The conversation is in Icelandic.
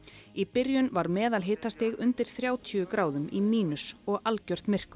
í byrjun var meðalhitastig undir þrjátíu gráðum í mínus og algjört myrkur